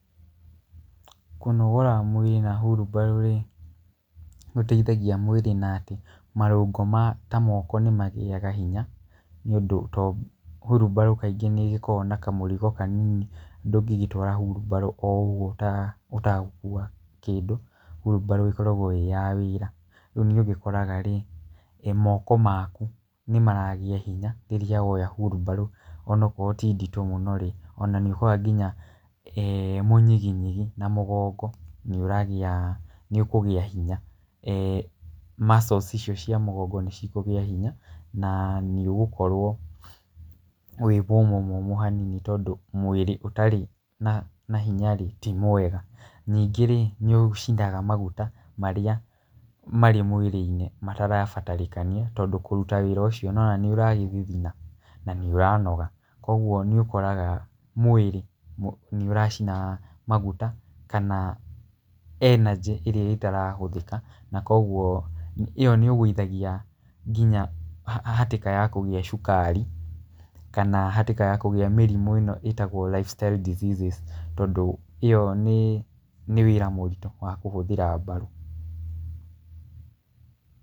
Kũnogora mwĩrĩ na wheelbarrow rĩ, nĩ gũteithagia mwĩrĩ na atĩ marũngol ma ta moko nĩ magĩaga hinya, tondũ wheelbarrow kaingĩ nĩ ĩgĩkoragwo na kamũrigo kanini, ndũngĩgĩtwara wheelbarrow o ũguo ũtagũkua kĩndũ. Wheelbarrow ĩkoragwo ĩĩ ya wĩra. Rĩu nĩ ũgĩkoraga rĩ, moko maku nĩ maragĩa hinya rĩrĩa woya wheelbarrow ona okorwo ti nditũ mũno rĩ, ona nĩ ũkoraga nginya mũnyiginyigi na mũgongo nĩ ũragĩa, ũkũgĩa hinya. Muscles icio cia mũgongo nĩ cikũgĩa hinya na nĩ ũgũkorwo wĩ mũmũ mũmũ hanini tondũ mwĩrĩ ũtarĩ na hinya rĩ, ti mwega. Ningĩ rĩ nĩ ũcinaga maguta marĩa marĩa marĩ mwĩrĩ-inĩ matarabatarĩkania, tondũ kũruta wĩra ũcio nĩ ũrona nĩ ũragĩthithina na nĩ ũranoga. Koguo nĩ ũkoraga mwĩrĩ nĩ ũracina maguta kana energy ĩrĩa ĩtarahũthĩka. Na koguo ĩo nĩ ũgũithagia nginya hatĩka ya kũgĩa cukari kana hatĩka ya kũgĩa mĩrimũ ĩno ĩtagwo lifestyle diseases, tondũ ĩo nĩ wĩra mũritũ wa kũhũthĩra mbaru.